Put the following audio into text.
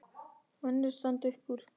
Önnur standa upp úr.